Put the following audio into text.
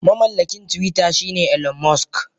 Mamallakin twitter shine Elon musk.